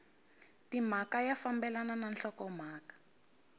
timhaka ya fambelana na nhlokomhaka